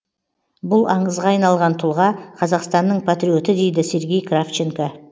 бұл аңызға айналған тұлға қазақстанның патриоты дейді сергей кравченко